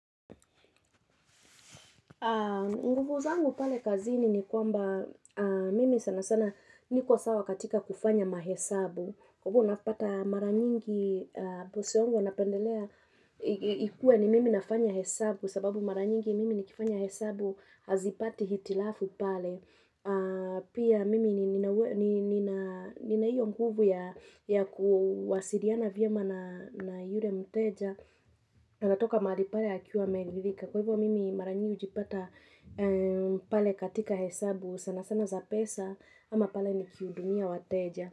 Nguvu zangu pale kazini ni kwamba mimi sana sana niko sawa katika kufanya mahesabu Kwa hivyo unapata mara nyingi bosi wangu anapendelea ikuwe ni mimi nafanya hesabu sababu mara nyingi mimi nikifanya hesabu hazipati hitilafu pale Pia mimi nina hiyo nguvu ya kuwasiliana vyema na yule mteja na natoka mahali pale akiwa ameridhika Kwa hivyo mimi mara nyingi hupata pale katika hesabu sana sana za pesa ama pale nikihudumia wateja.